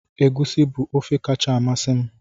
Egusi bu ofe kacha amasị m